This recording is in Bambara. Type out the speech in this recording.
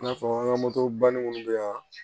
I n'a fɔ an ka moto banni minnu bɛ yan